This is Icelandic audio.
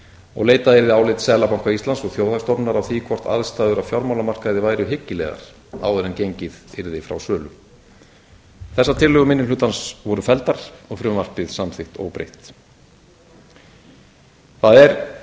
og leitað yrði álits seðlabanka íslands og þjóðhagsstofnunar á því hvort aðstæður á fjármálamarkaði væru hyggilegar áður en gengið yrði frá sölu þessar tillögur minni hlutans voru felldar og frumvarpið samþykkt óbreytt það er